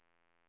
utvecklas